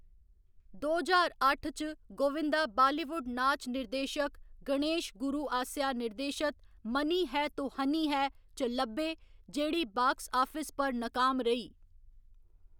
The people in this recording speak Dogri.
दो ज्हार अट्ठ च, गोविंदा बालीवुड नाच निर्देशक गणेश गुरू आसेआ निर्देशत 'मनी है तो हनी है' च लब्भे, जेह्‌ड़ी बाक्स आफिस पर नाकाम रेही।